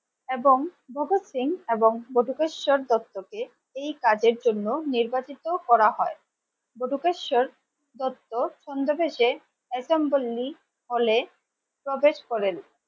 এবং ভগৎ সিং এবং বটুকেশ্বর দত্তকে এই কাজের জন্য নির্বাচিত করা হয় বধুদেশ স্বর দত্ত ছদ্মবেশে এসেম্বলি হলে প্রবেশ করেন